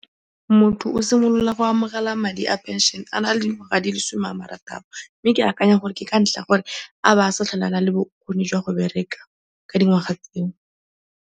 Motho o simolola go amogela madi a pension a na le dingwaga di le some a marataro mme ke akanya gore ke ka ntlha ya gore a bo a sa tlhole a na le bokgoni jwa go bereka ka dingwaga tseo.